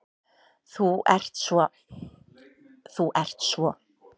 Þú ert svo. þú ert svo.